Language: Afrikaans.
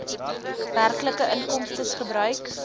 werklike inkomstes gebruik